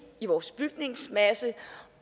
i vores bygningsmasse